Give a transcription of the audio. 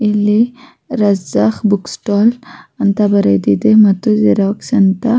ಇಲ್ಲಿ Raja book stall ಅಂತ ಬರೆದಿದೆ ಮತ್ತು ಜೆರಾಕ್ಸ್ ಅಂತ-